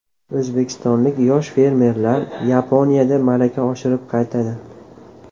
O‘zbekistonlik yosh fermerlar Yaponiyada malaka oshirib qaytadi.